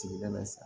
Sigida bɛ sa